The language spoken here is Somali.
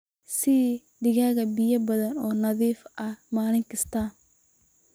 Sii digaagga biyo badan oo nadiif ah maalin kasta.